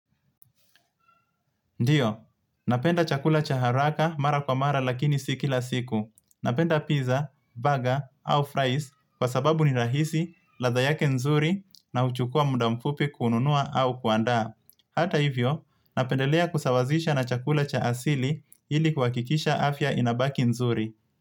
Ndiyo, napenda chakula cha haraka mara kwa mara lakini si kila siku. Napenda pizza, baga au fries kwa sababu ni rahisi, ladha yake nzuri na huchukua mda mfupi kununua au kuandaa. Hata hivyo, napendelea kusawazisha na chakula cha asili ili kunakikisha afya inabaki nzuri.